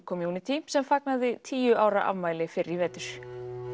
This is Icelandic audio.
community sem fagnaði tíu ára afmæli fyrr í vetur